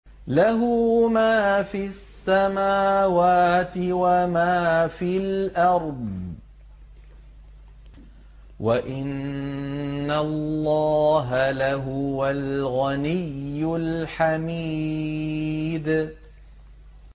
لَّهُ مَا فِي السَّمَاوَاتِ وَمَا فِي الْأَرْضِ ۗ وَإِنَّ اللَّهَ لَهُوَ الْغَنِيُّ الْحَمِيدُ